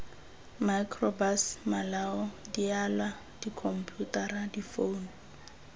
microbus malao dialwa dikhomputara difounu